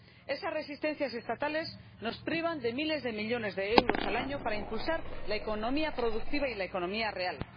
Esas resistencias estatales nos privan de miles de millones de euros al año para impulsar la economía productiva y la economía real.